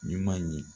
Ɲuman ye